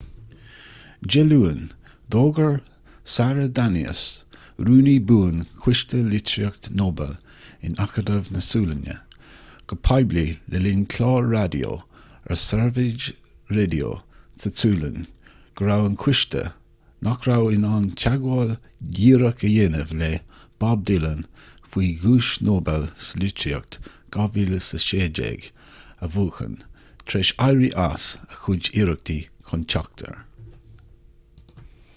dé luain d'fhógair sara danius rúnaí buan choiste litríochta nobel in acadamh na sualainne go poiblí le linn clár raidió ar sveriges radio sa tsualainn go raibh an coiste nach raibh in ann teagmháil dhíreach a dhéanamh le bob dylan faoi dhuais nobel sa litríocht 2016 a bhuachan tar éis éirí as a chuid iarrachtaí chun teacht air